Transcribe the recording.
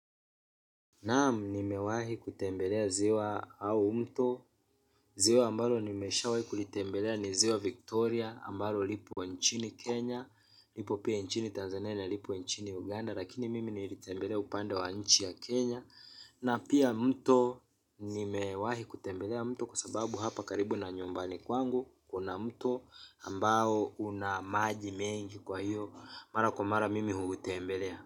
Naam nimewahi kutembelea ziwa au mto. Ziwa ambalo nimeshawahi kulitembelea ni ziwa Victoria Ambalo lipo nchini Kenya. Lipo pia nchini Tanzania na lipo nchini Uganda. Lakini mimi nilitembelea upande wa nchi ya Kenya Na pia mto nimewahi kutembelea mto. Kwa sababu hapa karibu na nyumbani kwangu kuna mto ambao una maji mengi kwa hiyo mara kwa mara mimi huutembelea.